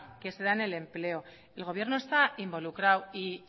en el empleo el gobierno está involucrado y